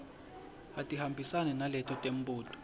atihambisane naleto temibuto